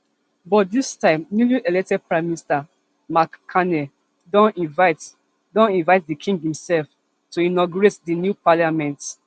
but dis time newly elected prime minister mark carney don invite don invite di king imself to inaugurate di new parliament